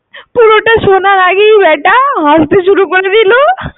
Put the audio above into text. পুরোটা শোনার আগেই ব্যাটা হাসতে শুরু করে দিলো।